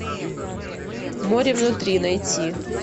море внутри найти